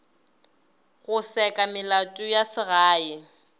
go seka melato ya segae